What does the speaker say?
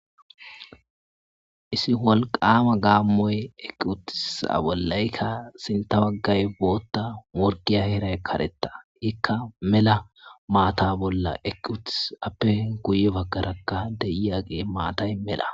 isi wolqama gaammoy eqi utissa aa bollaykka sinta baggay bootta morgiya heray karetta ikka mela maata bolla eqi utis appe guye baggarakka de'yagee maatay mela